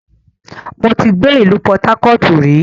Mo ti gbé ìlú pọtákọ̀ọ̀tù rí